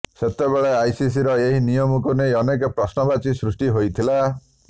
ସେତେବେଳେ ଆଇସିସିର ଏହି ନିୟମକୁ ନେଇ ଅନେକ ପ୍ରଶ୍ନବାଚୀ ସୃଷ୍ଟି ହୋଇଥିଲା